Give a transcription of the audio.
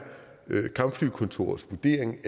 kampflykontorets vurdering